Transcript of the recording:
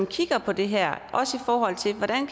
kigger på det her i forhold til hvordan